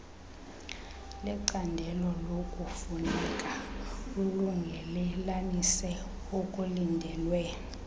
lecandelokufuneka lulungelelanise okulindelwe